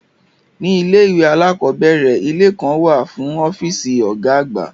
Ní ilé ìwé alákọ̀ọ́bẹ̀rẹ̀, ilé kan wà fún ọ́fíìsì Ọ̀gá àgbà